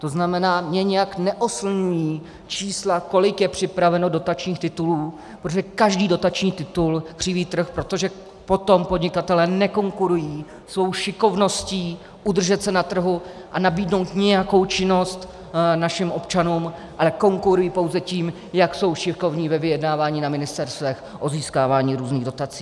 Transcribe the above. To znamená, mě nijak neoslňují čísla, kolik je připraveno dotačních titulů, protože každý dotační titul křiví trh, protože potom podnikatelé nekonkurují svou šikovností udržet se na trhu a nabídnout nějakou činnost našim občanům, ale konkurují pouze tím, jak jsou šikovní ve vyjednávání na ministerstvech o získávání různých dotací.